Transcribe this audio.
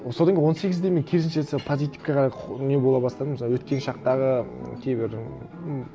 содан кейін он сегізде мен керісінше позитивке қарай не бола бастадым өткен шақтағы м кейбір м